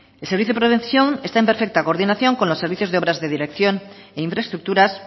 el servicio de prevención está en perfecta coordinación con los servicios de obras de dirección e infraestructuras